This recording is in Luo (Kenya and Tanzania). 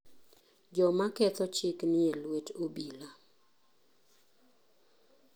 Joma ketho chik nie lwet obila.